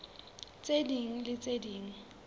tse ding le tse ding